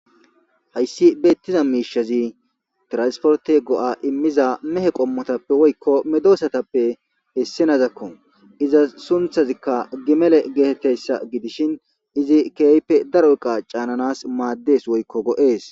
Hayssi beetiza miishazi transporte go'a imiza mehe qomatappe woykko meedosatappe issinozakko. Izas sunththazika gimele gtetizayssa gidishin izi keehipe daro eqqa caananas maades woykko go'ees.